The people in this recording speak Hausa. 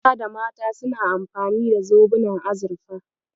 Maza da mata suna amfani da zobunan azurfa.